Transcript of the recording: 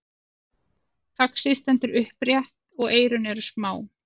faxið stendur upprétt og eyrun eru smá